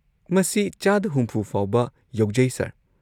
ꯃꯁꯤ ꯆꯥꯗ ꯶꯰ ꯐꯥꯎꯕ ꯌꯧꯖꯩ, ꯁꯔ꯫